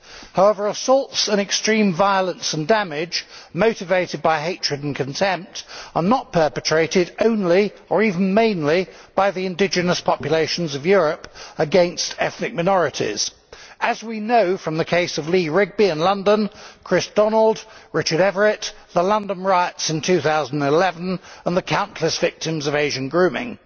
However, assaults and extreme violence and damage motivated by hatred and contempt are not perpetrated only or even mainly by the indigenous populations of Europe against ethnic minorities, as we know from the cases of Lee Rigby in London, those of Kriss Donald and Richard Everitt, the London riots in 2011 and the countless victims of Asian grooming.